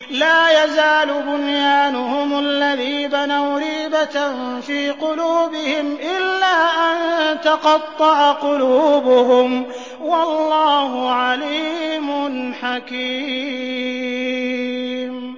لَا يَزَالُ بُنْيَانُهُمُ الَّذِي بَنَوْا رِيبَةً فِي قُلُوبِهِمْ إِلَّا أَن تَقَطَّعَ قُلُوبُهُمْ ۗ وَاللَّهُ عَلِيمٌ حَكِيمٌ